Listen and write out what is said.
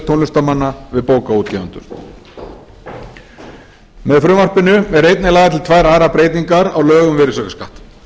tónlistarmanna við bókaútgefendur með frumvarpinu eru einnig lagðar til tvær aðrar breytingar á lögum um virðisaukaskatt